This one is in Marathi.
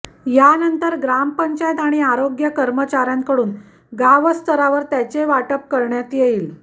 यानंतर ग्रामपंचायत आणि आरोग्य कर्मचाऱयांकडून गावस्तरावर त्याचे वाटप करण्यात येईल